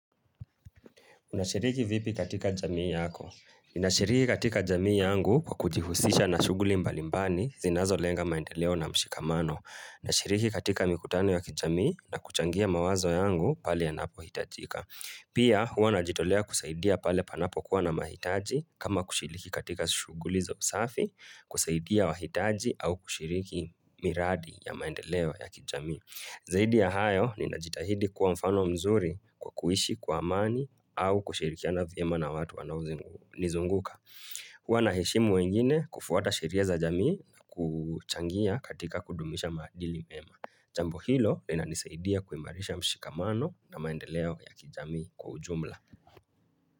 Unashiriki vipi katika jamii yako? Ninashiriki katika jamii yangu kwa kujihusisha na shuguli mbalimbani zinazo lenga maendeleo na mshikamano. Nashiriki katika mikutano ya kijamii na kuchangia mawazo yangu pale yanapo hitajika. Pia hua najitolea kusaidia pale panapo kuwa na mahitaji kama kushiriki katika shuguli za usafi kusaidia wahitaji au kushiriki miradi ya maendeleo ya kijamii. Zaidi ya hayo ninajitahidi kuwa mfano mzuri kwa kuishi kwa amani au kushirikiana vyema na watu wanao nizunguka. Huwa naheshimu wengine kufuata shiria za jamii na kuchangia katika kudumisha maadili mema. Jambo hilo linanisaidia kuimarisha mshikamano na maendeleo ya kijamii kwa ujumla.